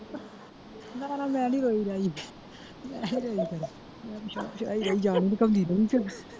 ਨਾ ਨਾ ਮੈਂ ਨਹੀਂ ਰੋਈ ਰਾਈ ਜਾਣ .